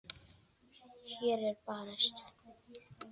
Hér er barist.